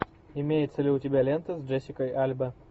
имеется ли у тебя лента с джессикой альба